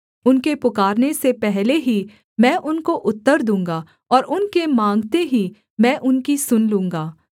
उनके पुकारने से पहले ही मैं उनको उत्तर दूँगा और उनके माँगते ही मैं उनकी सुन लूँगा